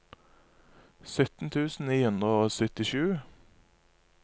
sytten tusen ni hundre og syttisju